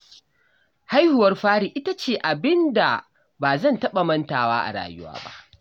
Haihuwar fari ita ce abin da ba zan taɓa mantawa ba a rayuwa